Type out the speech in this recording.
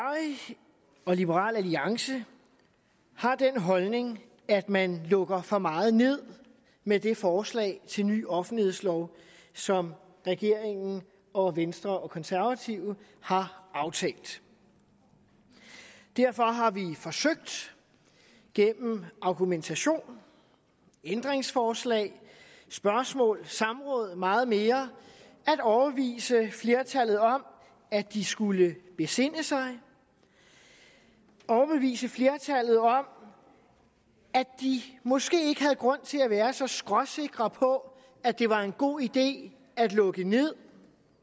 og liberal alliance har den holdning at man lukker for meget ned med det forslag til ny offentlighedslov som regeringen og venstre og konservative har aftalt derfor har vi forsøgt gennem argumentation ændringsforslag spørgsmål samråd og meget mere at overbevise flertallet om at de skulle besinde sig overbevise flertallet om at de måske ikke havde grund til at være så skråsikre på at det var en god idé at lukke ned